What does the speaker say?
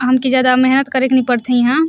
हमके ज्यादा मेहनत करे के पड़ थे ईहा--